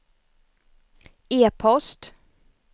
e-post